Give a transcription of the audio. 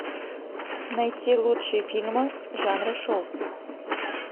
найти лучшие фильмы жанра шоу